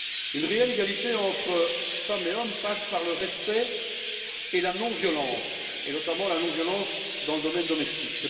Une réelle égalité entre femmes et hommes passe par le respect et la non-violence et, notamment, la non violence dans le milieu domestique.